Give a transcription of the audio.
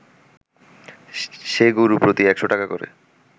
সে গরু প্রতি ১০০ টাকা করে